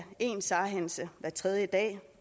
én sar hændelse hver tredje dag